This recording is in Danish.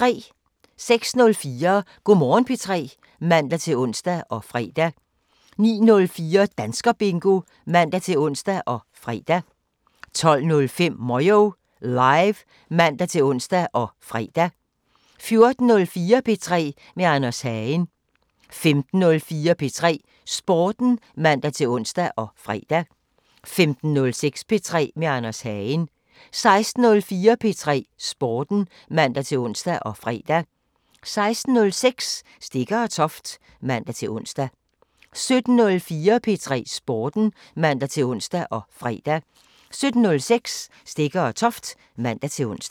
06:04: Go' Morgen P3 (man-ons og fre) 09:04: Danskerbingo (man-ons og fre) 12:05: Moyo Live (man-ons og fre) 14:04: P3 med Anders Hagen 15:04: P3 Sporten (man-ons og fre) 15:06: P3 med Anders Hagen 16:04: P3 Sporten (man-ons og fre) 16:06: Stegger & Toft (man-ons) 17:04: P3 Sporten (man-ons og fre) 17:06: Stegger & Toft (man-ons)